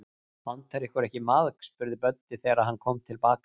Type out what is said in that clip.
Vantar ykkur ekki maðk? spurði Böddi, þegar hann kom til baka.